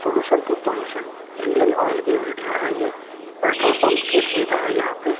solution to pollution Indian Oil की video है ये पेट्रोल पंप की सुविधा है यहां पे--